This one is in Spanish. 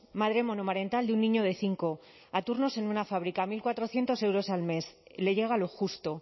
madre monomarental de un niño de cinco a turnos en una fábrica mil cuatrocientos euros al mes le llega lo justo